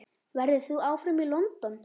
Verður þú áfram í London?